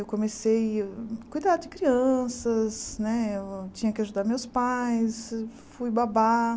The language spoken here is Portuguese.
Eu comecei a cuidar de crianças, né eu tinha que ajudar meus pais, fui babá.